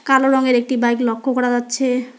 কালো রঙের একটি বাইক লক্ষ করা যাচ্ছে।